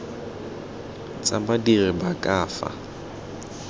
tsa badiri ba ka fa